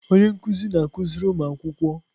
Onye nkụzi na-akụziri ụmụ akwụkwọ.